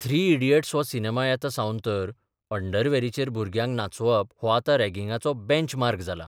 मथ्री इडियट्सफ हो सिनेमा येतसाबन तर अंडरवॅरीचेर भुरग्यांक नाचोवप हो आतां रॅगिंगाचो बॅच मार्क जाला.